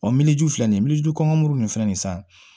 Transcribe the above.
miliyɔnju fila nin miliyɔn kɔngɔ muru ninnu filɛ nin ye san